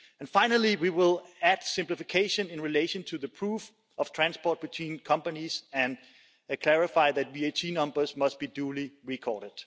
And finally, we will add simplification in relation to the proof of transport between companies and clarify that VAT numbers must be duly recorded.